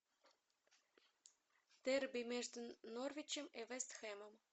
дерби между норвичем и вест хэмом